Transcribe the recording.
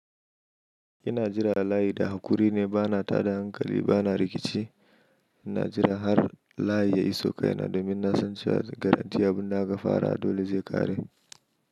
Ina jira layi da hakuri ne, bana tada hankali, bana rikici. Ina jira har layi ya iso kaina domin na san cewa garantti abin da aka fara dole zai ƙare.